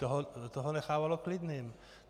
To ho nechávalo klidným.